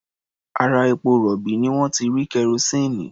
Ara epo-rọ̀bì ni wọ́n ti rí kerosíìnì.